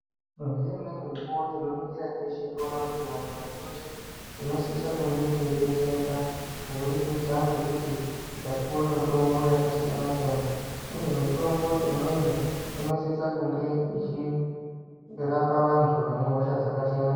Ngeimweni mikuwo, tinoningira teshe, toona kuti vanthu vazhinji tinosise kunge teidetsereka, kuburikidza ngekuti tapuwe mitombo, yakasiyana-siyana, uye mitombo imweni, inosise kunga ichirapa vanthu vane hosha dzakasiyana-siyana.